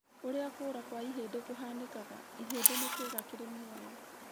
ũrĩa kũra kwa ihĩndĩ kũhanĩkaga, ihĩndi nĩ kĩga kĩrĩ muoyo